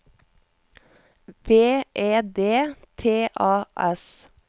V E D T A S